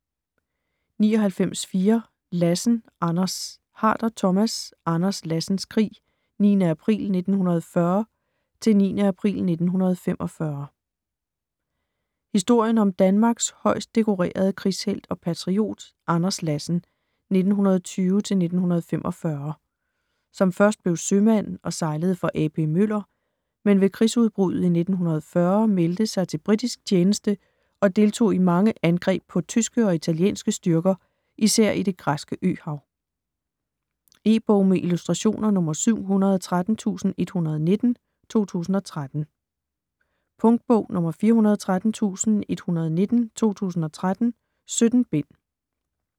99.4 Lassen, Anders Harder, Thomas: Anders Lassens krig: 9. april 1940-9. april 1945 Historien om Danmarks højst dekorerede krigshelt og patriot, Anders Lassen (1920-1945), som først blev sømand og sejlede for A.P. Møller, men ved krigsudbruddet i 1940 meldte sig til britisk tjeneste og deltog i mange angreb på tyske og italienske styrker især i det græske øhav. E-bog med illustrationer 713119 2013. Punktbog 413119 2013. 17 bind.